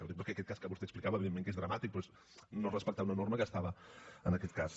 ho dic perquè aquest cas que vostè explicava evidentment que és dramàtic però és no respectar una norma que estava en aquest cas